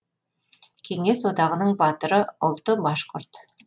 кеңес одағының батыры ұлты башқұрт